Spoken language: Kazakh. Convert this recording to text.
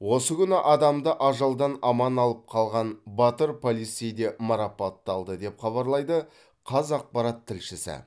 осы күні адамды ажалдан аман алып қалған батыр полицей де марапатталды деп хабарлайды қазақпарат тілшісі